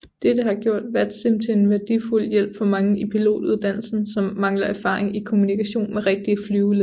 Dette har gjort VATSIM til en værdifuld hjælp for mange i pilotuddannelsen som mangler erfaring i kommunikation med rigtige flyveledere